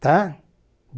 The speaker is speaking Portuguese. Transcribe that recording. Tá?